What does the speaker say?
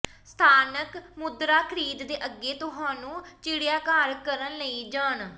ਸਥਾਨਕ ਮੁਦਰਾ ਖਰੀਦ ਦੇ ਅੱਗੇ ਤੁਹਾਨੂੰ ਚਿੜੀਆਘਰ ਕਰਨ ਲਈ ਜਾਣ